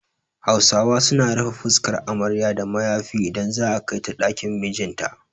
Hausawa su na rufe fuskar amarya da mayafi idan za'a kai ta ɗakin mijin ta